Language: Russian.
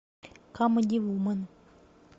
камеди вумен